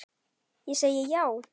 Ég segi já!